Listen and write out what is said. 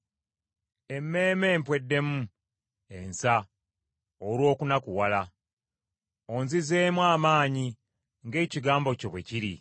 Emmeeme empweddemu ensa olw’okunakuwala; onzizeemu amaanyi ng’ekigambo kyo bwe kiri.